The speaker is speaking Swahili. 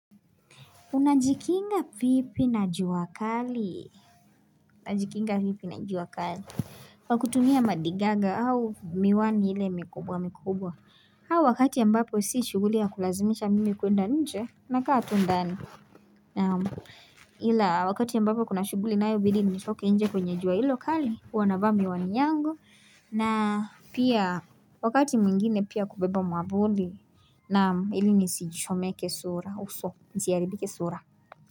Unajikinga vipi na juakali. Unajikinga vipi na juakali. Kwa kutumia madigaga au miwani ile mikubwa mikubwa. Au wakati a mbapo si shughuli ya kulazimisha mimi kuenda nje. Nakaat undani. Ila wakati a mbapo kuna shuguli ina ayo bidi nitoke nje kwenye jua ilo kali. HuWanavaa mi wani yangu. Na pia wakati mwingine pia kubeba mwavuli. Naam ilini sichomeke sura. Uso. Nsiharibike sura.